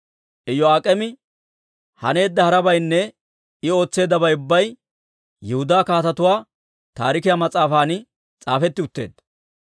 Iyo'aak'eemi haneedda harabaynne I ootseeddabay ubbay Yihudaa Kaatetuwaa Taarikiyaa mas'aafan s'aafetti utteedda.